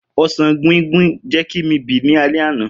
Osan guinguin jẹ ki mi bì ni alẹ ana.